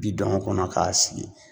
Bi don a kɔnɔ k'a sigi